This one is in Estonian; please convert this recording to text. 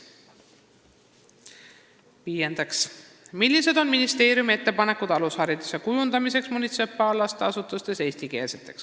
Viiendaks: "Millised on ministeeriumi ettepanekud alushariduse kujundamiseks munitsipaallasteasutustes eestikeelseks?